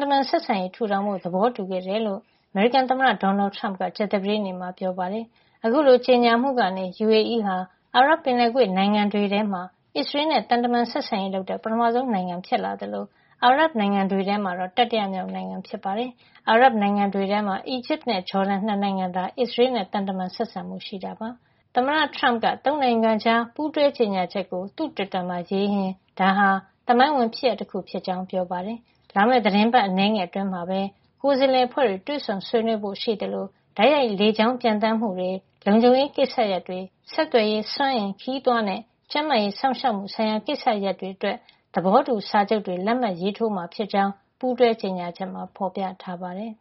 တမန် ဆက်ဆံရေး ထူထောင်ဖို့ သဘောတူခဲ့ ကြတယ်လို့ အမေရိကန်သမ္မတ ဒေါ်နယ်ထရမ့်က ကြာသပတေးနေ့မှာ ကြေညာပါတယ်။ အခုလိုကြေညာမှုကနေ UAE ဟာ အာရပ်ပင်လယ်ကွေ့နိုင်ငံတွေထဲမှာ အစ္စရေးနဲ့ သံတမန်ဆက်ဆံရေးလုပ်တဲ့ ပထမဆုံး နိုင်ငံဖြစ်လာသလို အာရပ်နိုင်ငံတွေထဲမှာတော့ တတိယမြောက် နိုင်ငံဖြစ်ပါတယ်။ အာရပ်နိုင်ငံတွေထဲမှာ အီဂျစ်နဲ့ ဂျော်ဒန် ၂ နိုင်ငံသာ အစ္စရေးနဲ့ သံတမန်ဆက်ဆံမှု ရှိနေတာ ဖြစ်ပါတယ်။ သမ္မတ ထရမ့်က ၃ နိုင်ငံကြား ပူးတွဲကြေညာချက်ကို သူ့တွစ်တာမှာ ရေးရင်း ဒါဟာ သမိုင်းဝင် ဖြစ်ရပ် တခု ဖြစ်ကြောင်း ပြောပါတယ်။ လာမယ့် သီတင်းပတ် အနည်းငယ်အတွင်းမှာပဲ ကိုယ်စားလှယ်အဖွဲ့တွေ တွေ့ဆုံဆွေးနွေးဖို့ ရှိသလို တိုက်ရိုက် လေကြောင်း ပျံသန်းမှုတွေ၊ လုံခြုံရေးကိစ္စရပ်တွေ၊ ဆက်သွယ်ရေး၊ စွမ်းအင်၊ ခရီးသွားနဲ့ ကျန်းမာရေးစောင့်ရှောက်မှု ဆိုင်ရာ ကိစ္စရပ်တွေ အတွက် သဘောတူစာချုပ်တွေ လက်မှတ်ရေးထိုးမှာ ဖြစ်ကြောင်း ပူးတွဲကြေညာချက်မှာ ဖေါ်ပြထားပါတယ်။